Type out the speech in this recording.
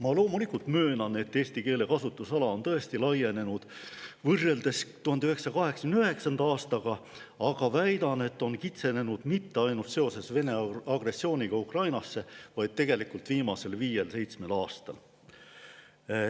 Ma loomulikult möönan, et eesti keele kasutusala on laienenud võrreldes 1989. aastaga, aga väidan, et on kitsenenud mitte ainult seoses Vene agressiooniga Ukrainas, vaid tegelikult viimasel viiel kuni seitsmel aastal.